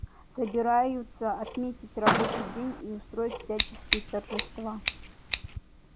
собираются отменить рабочий день и устроить всяческие торжества